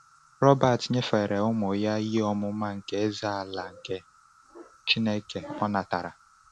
Robert nyefere ụmụ ya ihe ọmụma nke Eze-ala nke Chineke o natara.